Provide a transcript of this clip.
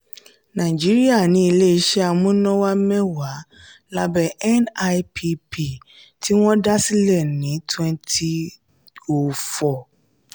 nàìjíríà ní ilé iṣẹ́ amúnáwá mẹ́wàá lábẹ́ nipp tí wọ́n dá sílẹ̀ ní twenty oh four.